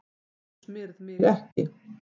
Þú smyrð mig ekki.